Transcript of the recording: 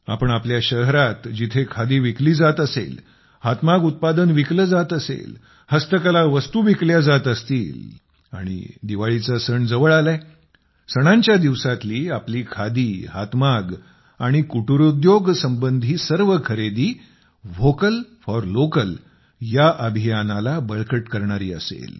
आपण आपल्या शहरात जिथे खादी विकली जात असेल हातमाग उत्पादन विकले जात असेल हस्तकला वस्तू विकल्या जात असतील आणि दिवाळीचा सण जवळ आला आहे सणांच्या दिवसातील आपली खादी हातमाग आणि कुटिरोद्योग संबंधी सर्व खरेदी व्होकल फोर लोकल ह्या अभियानाला बळकट करणारी असेल